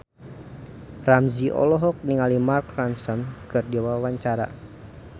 Ramzy olohok ningali Mark Ronson keur diwawancara